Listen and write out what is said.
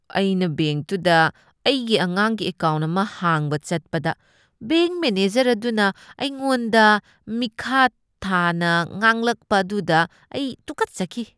ꯑꯩꯅ ꯕꯦꯡꯛꯇꯨꯗ ꯑꯩꯒꯤ ꯑꯉꯥꯡꯒꯤ ꯑꯦꯀꯥꯎꯟ꯭ꯠ ꯑꯃ ꯍꯥꯡꯕ ꯆꯠꯄꯗ ꯕꯦꯡꯛ ꯃꯦꯅꯦꯖꯔ ꯑꯗꯨꯅ ꯑꯩꯉꯣꯟꯗ ꯃꯤꯈꯥꯊꯥꯅ ꯉꯥꯡꯂꯛꯄ ꯑꯗꯨꯗ ꯑꯩ ꯇꯨꯀꯠꯆꯈꯤ꯫